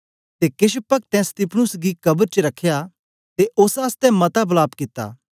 ते केछ पक्तैं स्तिफनुस गी कब्र च रखया ते ओस आसतै मता वलाप कित्ता